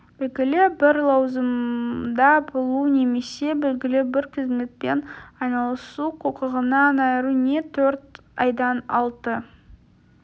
белгілі бір лауазымда болу немесе белгілі бір қызметпен айналысу құқығынан айыру не төрт айдан алты